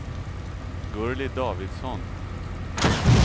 Gurli Davidsson